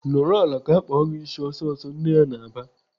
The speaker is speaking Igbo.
"Nọrọ ala ka akpa gị ịsị ọsịsọ!" Nne ya na-aba.